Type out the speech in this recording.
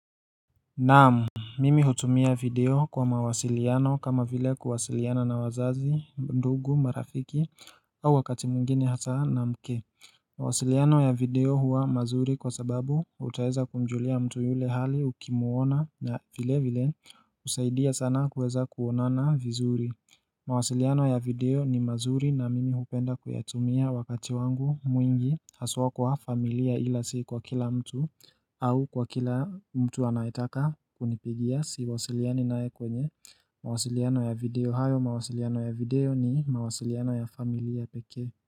Naam Mimi hutumia video kwa mawasiliano kama vile kuwasiliana na wazazi, ndugu, marafiki au wakati mwingine hata na mke mawasiliano ya video huwa mazuri kwa sababu utaeza kumjulia mtu yule hali ukimuona na vile vile usaidia sana kuweza kuonana vizuri mawasiliano ya video ni mazuri na mimi hupenda kuyatumia wakati wangu mwingi haswa kwa familia ila si kwa kila mtu au kwa kila mtu anayetaka kunipigia si wasiliani nae kwenye mawasiliano ya video hayo mawasiliano ya video ni mawasiliano ya familia peke.